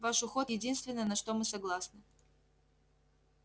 ваш уход единственное на что мы согласны